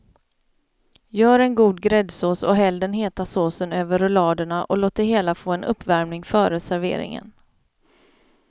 Gör en god gräddsås och häll den heta såsen över rulladerna och låt det hela få en uppvärmning före serveringen.